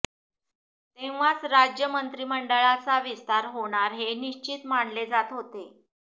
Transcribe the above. तेव्हाच राज्य मंत्रिमंडळाचा विस्तार होणार हे निश्चित मानले जात होते